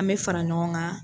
An bɛ fara ɲɔgɔn kan